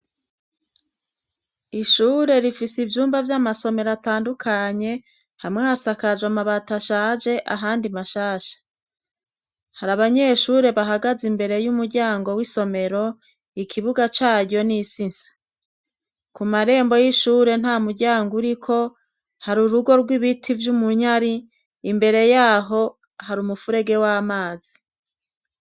Ishure rifise ivyumba vy'amasomero atandukanye. Hamwe hasakaje amabati ashaje, ahandi mashasha. Hari abanyeshure bahagaze imbere y'umuryango w'isomero. Ikibuga c'aryo n'isi nsa. Ku marembo y'ishure, nta muryango uriko hari urugo rw'ibiti vy'umunyare. Imbere y'aho, hari umufurege w'amazi.